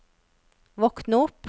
våkn opp